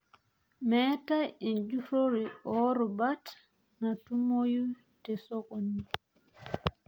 Meetai enjurro oorubat naatumoyu tesokoni.